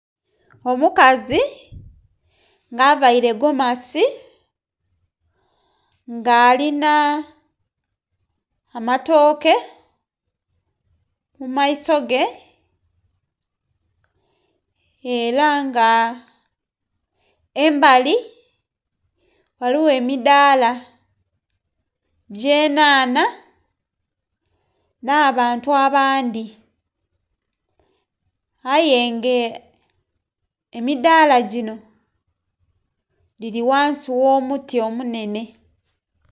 Omukazi nga availe gomasi, nga alina amatooke mu maiso ge, era nga embali ghaligho emidaala gy'enhanha nh'abantu abandhi. Aye nga emidaala gino gili ghansi gh'omuti omunhenhe.